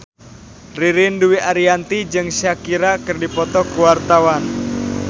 Ririn Dwi Ariyanti jeung Shakira keur dipoto ku wartawan